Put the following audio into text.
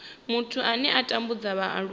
muthu ane a tambudza vhaaluwa